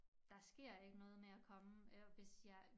Der sker ikke noget med at komme og hvis jeg